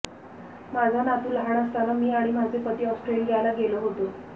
माझा नातू लहान असताना मी आणि माझे पती ऑस्ट्रेलियाला गेलो होतो